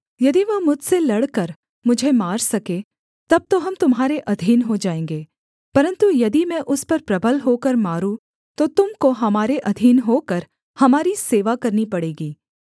यदि वह मुझसे लड़कर मुझे मार सके तब तो हम तुम्हारे अधीन हो जाएँगे परन्तु यदि मैं उस पर प्रबल होकर मारूँ तो तुम को हमारे अधीन होकर हमारी सेवा करनी पड़ेगी